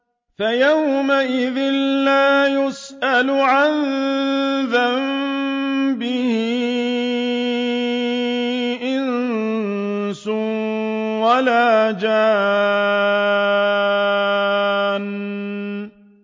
فَيَوْمَئِذٍ لَّا يُسْأَلُ عَن ذَنبِهِ إِنسٌ وَلَا جَانٌّ